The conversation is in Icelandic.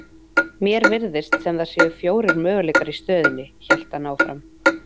Mér virðist sem það séu fjórir möguleikar í stöðunni, hélt hann áfram.